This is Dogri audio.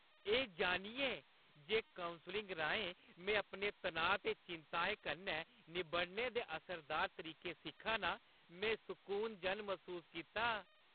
एह् जानियै जे कौंसलिङ राहें में अपने तनाऽ ते चिंत्ताएं कन्नै निब्बड़ने दे असरदार तरीके सिक्खा नां, में सकून जन मसूस कीता।